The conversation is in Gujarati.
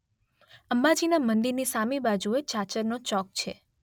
અંબાજીના મંદિરની સામી બાજુએ ચાચરનો ચોક છે.